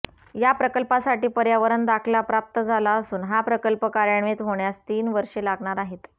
या प्रकल्पासाठी पर्यावरण दाखला प्राप्त झाला असून हा प्रकल्प कार्यान्वित होण्यास तीन वर्षे लागणार आहेत